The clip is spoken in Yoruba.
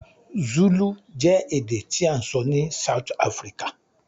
Zulu je èdè ti a n sọ ni South Africa